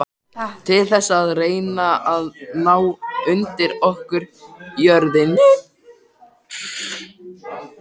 Til þess að reyna að ná undir okkur jörðinni?